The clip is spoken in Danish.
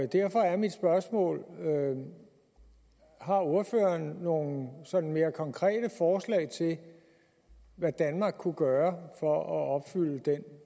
derfor er mit spørgsmål har ordføreren nogle sådan mere konkrete forslag til hvad danmark kunne gøre for at opfylde den